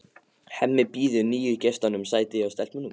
Hemmi býður nýju gestunum sæti hjá stelpunum.